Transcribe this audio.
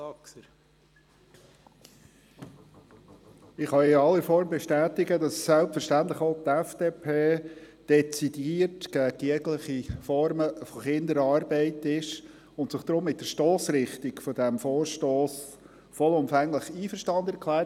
Ich kann in aller Form bestätigen, dass selbstverständlich auch die FDP dezidiert gegen jegliche Form von Kinderarbeit ist und sich deshalb mit der Stossrichtung dieses Vorstosses vollumfänglich einverstanden erklärt.